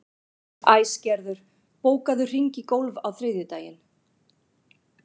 Æsgerður, bókaðu hring í golf á þriðjudaginn.